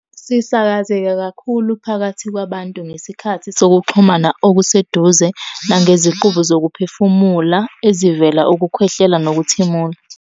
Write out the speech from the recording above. Sisakazeka kakhulu phakathi kwabantu ngesikhathi sokuxhumana okuseduze nangeziqubu zokuphefumula ezivela ukukhwehlela nokuthimula.